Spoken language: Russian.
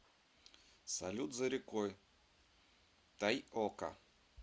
салют за рекой тайока